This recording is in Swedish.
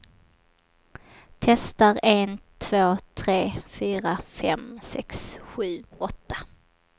Testar en två tre fyra fem sex sju åtta.